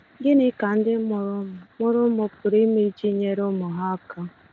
Gịnị ka ndị mụrụ ụmụ mụrụ ụmụ pụrụ ime iji nyere ụmụ ha aka?